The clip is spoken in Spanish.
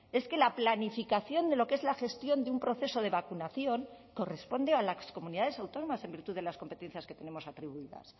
es que la planificación de lo que es la gestión de un proceso de vacunación corresponde a las comunidades autónomas en virtud de las competencias que tenemos atribuidas